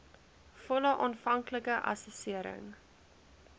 volle aanvanklike assessering